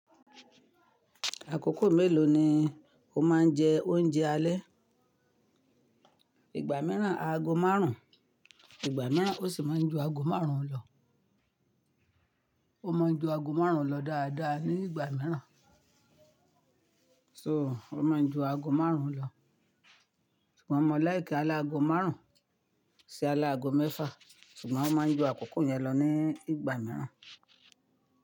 Àkókò mélòó ni o máa ń jẹ oúnjẹ alẹ́? Ìgbà mìíràn aago márùn-ún, ìgbà mìíràn ó sì máa ń ju aago márùn-ún lọ. O mo n ju ago marun lo daadaa ni igba miiran So, ó máa ń ju aago márùn-ún lọ. Sugbon mo like alaago marun si alaago mefa, sugbon, o mo n ju akoko yen lo ni igba miiran.